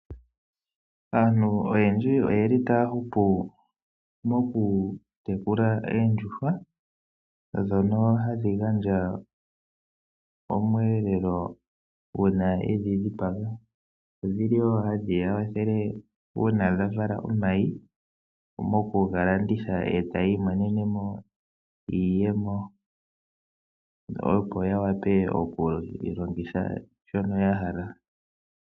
Aantu oyendji oyeli taya hupu mokutekula oondjuhwa dhono hadhi gandja omweelelo dhono hadhi gandja omweelelo uuna yendhi dhipaga dhi dhili woo hadhi ya wathele uuna dhavala omayi mokugalanditha etayi imonene iiyemo opo yiwape okulongitha shono yahala.